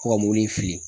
Ko ka mobili fili